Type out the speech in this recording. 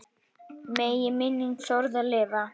Megi minning Þórðar lifa.